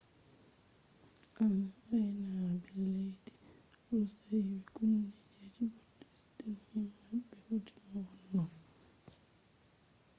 ainaaɓe leddi roshiya kunni jet bo steshin maɓɓe hoti no wonno